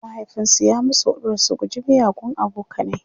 mahaifinsu ya musu huɗubar su guji miyagun abokanai